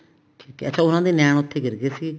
ਠੀਕ ਹੈ ਅੱਛਾ ਉਹਨਾ ਦੇ ਨੈਣ ਉੱਥੇ ਗਿਰ ਗਏ ਸੀ